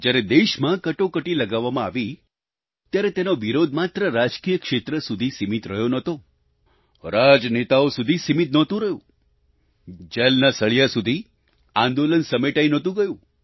જ્યારે દેશમાં કટોકટી લગાવવામાં આવી ત્યારે તેનો વિરોધ માત્ર રાજકીય ક્ષેત્ર સુધી સીમિત રહ્યો નહોતો રાજનેતાઓ સુધી સીમિત નહોતું રહ્યું જેલના સળીયા સુધી આંદોલન સમેટાઈ નહોતું ગયું